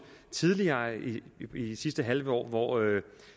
tidligere i det sidste halve år hvor